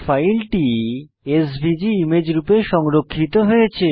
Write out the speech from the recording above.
ফাইলটি SVG image রূপে সংরক্ষিত হয়েছে